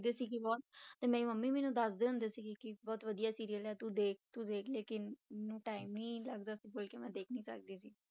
ਦੇਖਦੇ ਸੀ ਬਹੁਤ ਤੇ ਮੇਰੀ ਮੰਮੀ ਮੈਨੂੰ ਦੱਸਦੇ ਹੁੰਦੇ ਸੀਗੇ ਕਿ ਬਹੁਤ ਵਧੀਆ serial ਆ ਤੂੰ ਦੇਖ ਤੂੰ ਦੇਖ ਲੇਕਿੰਨ ਮੈਨੂੰ time ਹੀ ਨੀ ਲੱਗਦਾ, ਇਸ ਕਰਕੇ ਮੈਂ ਦੇਖ ਨੀ ਸਕਦੀ ਸੀ।